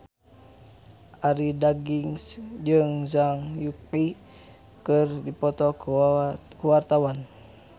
Arie Daginks jeung Zhang Yuqi keur dipoto ku wartawan